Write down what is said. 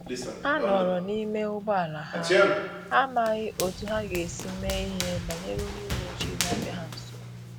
Ha nọrọ n’ime ụgbọala ha, ha amaghị otú ha ga-esi mee ihe banyere onye uweojii na-abia ha nso